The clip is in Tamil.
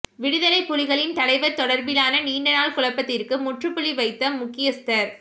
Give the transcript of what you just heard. விடுதலைப் புலிகளின் தலைவர் தொடர்பிலான நீண்ட நாள் குழப்பத்திற்கு முற்றுப் புள்ளி வைத்த முக்கியஸ்தர்